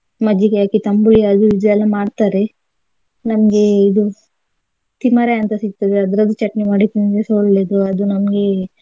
ಮಜ್ಜಿಗೆ ಹಾಕಿ ತಂಬುಳಿ ಅದು ಇದು ಎಲ್ಲ ಮಾಡ್ತಾರೆ ನಮ್ಗೆ ಇದು ತಿಮರೆ ಅಂತ ಸಿಗ್ತದೆ ಅದ್ರದ್ದು ಚಟ್ನಿ ಮಾಡಿ ತಿಂದ್ರೆಸ ಒಳ್ಲೆದು ಅದು ನಮ್ಗೆ.